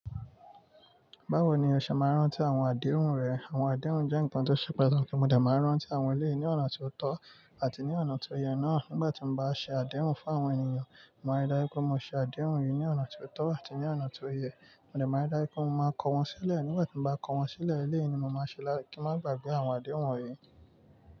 Báwo ni o ṣe máa ń rántí àwọn àdéhùn rẹ̀? Àwọn àdéhùn jẹ́ nǹkan tó ṣe pàtàkì mo de máa rántí awọn eleyii ní ọ̀nà tó tọ́ àti ní ọ̀nà tó yẹ náà. Nígbà tí mo bá ṣe àdéhùn fún àwọn ènìyàn, mo máa rí dájú pé mo ṣe àdéhùn yìí ní ọ̀nà tó tọ́ àti ní ọ̀nà tó yẹ. Mo de máa ń rí dájú pé mo máa kọ wọ́n sílẹ̀. Nígbà tí mo bá kọ wọ́n sílẹ̀, eleyii ni mo máa ṣe láti má gbagbẹ́ àwọn àdéhùn wọ̀nyí.